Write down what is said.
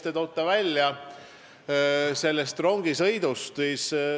Te tõite välja selle rongisõidu.